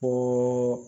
Ko